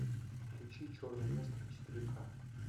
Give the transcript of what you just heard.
включи черный ястреб четыре ка